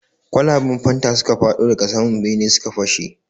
Kwalaban fanta suka fadon daga sama bene suka fashe.